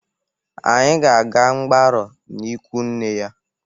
Anyị ga-aga mgbarụ n'ikwu nne ya.